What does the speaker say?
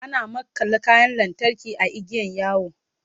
ana makalla kayan lantarki a igiyan yawo